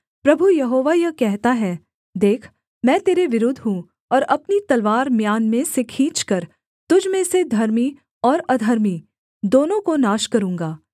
प्रभु यहोवा यह कहता है देख मैं तेरे विरुद्ध हूँ और अपनी तलवार म्यान में से खींचकर तुझ में से धर्मी और अधर्मी दोनों को नाश करूँगा